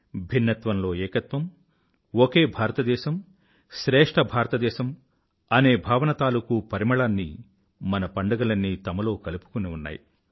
భిన్నత్వంలో ఏకత్వం ఒకే భారతదేశం శ్రేష్ఠ భారతదేశం అనే భావన తాలూకూ పరిమళాన్ని మన పండుగలన్నీ తమలో కలుపుకుని ఉన్నాయి